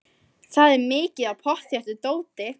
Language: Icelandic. Það er mikið af pottþéttu dóti.